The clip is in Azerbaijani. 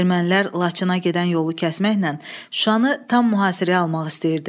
Ermənilər Laçına gedən yolu kəsməklə Şuşanı tam mühasirəyə almaq istəyirdi.